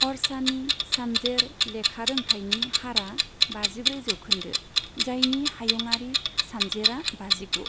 अरछानि सानजेर लेखारोंथायनि हारआ बाजिब्रै जौखोन्दो, जायनि हायुंआरि सानजेरआ बाजिगु।